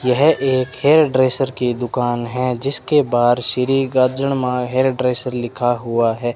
यह एक hairdresser की दुकान है जिसके बाहर श्री गाजड़मां हेयर ड्रेसर लिखा हुआ है।